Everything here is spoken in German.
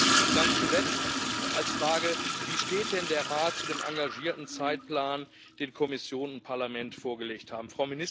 Und ganz zuletzt Wie steht denn der Rat zu dem engagierten Zeitplan, den Kommission und Parlament vorgelegt haben?